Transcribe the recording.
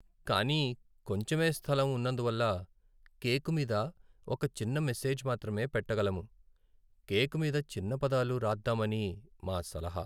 కానీ కొంచెమే స్థలం ఉన్నందువల్ల, కేక్ మీద ఒక చిన్న మెసేజ్ మాత్రమే పెట్టగలము. కేక్ మీద చిన్న పదాలు రాద్దామని మా సలహా.